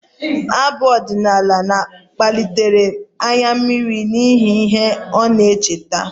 Abụ ọdịnala kpalitere anya mmiri n'ihi ihe ndị ọ na-echeta